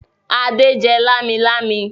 Adé jẹ lámilámi?